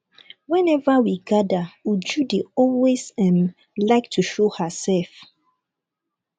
whenever we gather uju dey always um like um to show herself